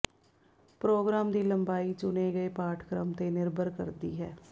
programme ਦੀ ਲੰਬਾਈ ਚੁਣੇ ਗਏ ਪਾਠਕ੍ਰਮ ਤੇ ਨਿਰਭਰ ਕਰਦੀ ਹੈ